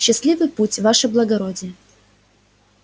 счастливый путь ваше благородие